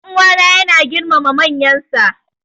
Dan uwana yana girmama manyansa.